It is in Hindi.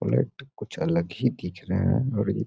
कुछ अलग ही दिख रहे है और ये --